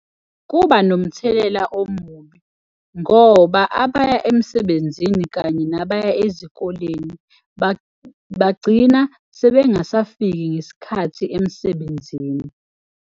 Kuba nomthelela omubi ngoba abaya emsebenzini kanye nabaya ezikoleni bagcina sebengasafiki ngesikhathi emsebenzini.